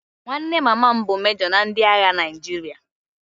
Nwanne mama m bụ mejo na ndị agha Naịjirịa